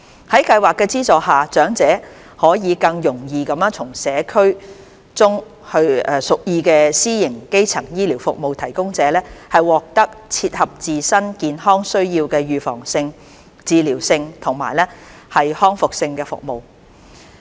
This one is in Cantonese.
在計劃的資助下，長者可以更容易地從社區中屬意的私營基層醫療服務提供者，獲得最切合自身健康需要的預防性、治療性及復康性服務。